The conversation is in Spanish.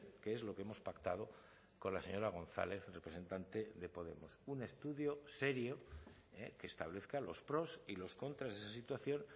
que es lo que hemos pactado con la señora gonzález representante de podemos un estudio serio que establezca los pros y los contras de esa situación